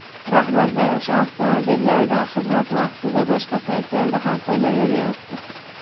rahbarlar o‘sha avtomobillardan xizmat vaqtidan boshqa paytlarda ham foydalanyapti.